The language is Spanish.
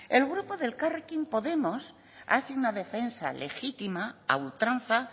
el grupo de elkarrekin podemos hace una defensa legítima a ultranza